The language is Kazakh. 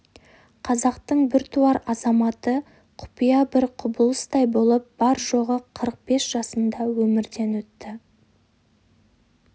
қазақтың біртуар азаматы құпия бір құбылыстай болып бар-жоғы қырық бес жасында өмірден өтті